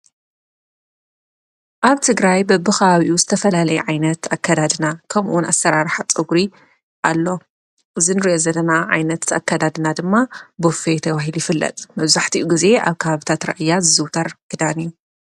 ኣንቲ ግራይ በብኻብኡ ዝተፈላለይ ዓይነት ኣከዳድና ከምኡውን ኣሠራር ሓፀጕሪ ኣሎ ዝንሬ ዘተና ዓይነት ኣከዳድና ድማ ቦፌየተዋሂል ይፍለጥ መዙሕቲኡ ጊዜ ኣብ ካሃብታት ረአያት ዝዝውተር ግዳን እዩ።